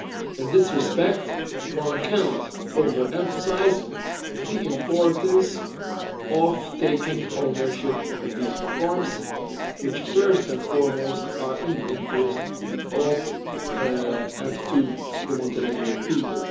In this respect, one cannot over emphasise the importance of taking ownership of these reforms, which first and foremost are in the interest of, and to, the Montenegrin people.